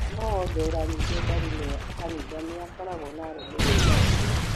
Mũteti o wothe ũranyitwo mbaru ni kanitha nĩakoragwo na arũmĩrĩri aingĩ